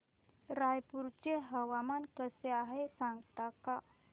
रायपूर चे हवामान कसे आहे सांगता का